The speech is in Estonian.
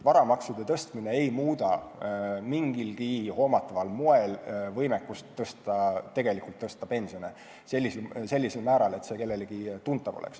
Varamaksude tõstmine ei muuda mingilgi hoomataval moel võimekust tõsta pensioni sellisel määral, et see oleks kellelegi tuntav.